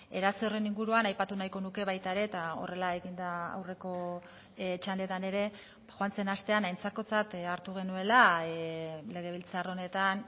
eratze horren inguruan aipatu nahiko nuke baita ere eta horrela egin da aurreko txandetan ere joan zen astean aintzakotzat hartu genuela legebiltzar honetan